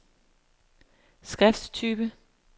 skrifttype